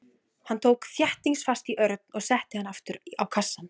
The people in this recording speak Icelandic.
Hann tók þéttingsfast í Örn og setti hann aftur á kassann.